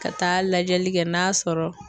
Ka taa lajɛli kɛ n'a sɔrɔ